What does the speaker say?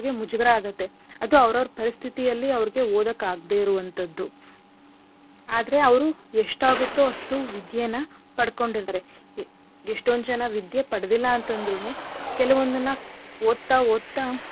ಮುಜುಗರ ಆಗತ್ತೆ ಅದು ಅವ್ರ್ ಅವ್ರ ಪರಿಸ್ಥಿತಿಯಲ್ಲಿ ಅವ್ರಿಗೆ ಓದಕ್ಕೆ ಆಗ್ದೆ ಇರುವಂಥದ್ದು. ಆದರೆ ಅವ್ರು ಎಷ್ಟ್ ಆಗುತ್ತೊ ಅಷ್ಟು ವಿದ್ಯೇನ ಪಡ್ಕೊಂಡಿದಾರೆ. ಎಷ್ಟೊಂದ್ ಜನ ವಿದ್ಯೆ ಪಡ್ದಿಲ್ಲ ಅಂತ್ ಅಂದ್ರುನು ಕೆಲವೊಂದನ್ನ ಓದ್ತಾ ಓದ್ತಾ.